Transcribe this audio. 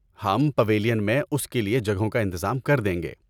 ہم پیویلین میں اس کے لیے جگہوں کا انتظام کر دیں گے۔